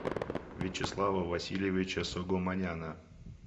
вячеслава васильевича согомоняна